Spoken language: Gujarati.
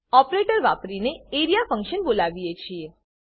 ઓપરેટર વાપરીને એઆરઇએ ફંક્શન બોલાવીએ છીએ